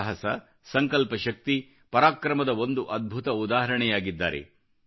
ಸಾಹಸ ಸಂಕಲ್ಪಶಕ್ತಿ ಪರಾಕ್ರಮದ ಒಂದು ಅದ್ಭುತ ಉದಾಹರಣೆಯಾಗಿದ್ದಾರೆ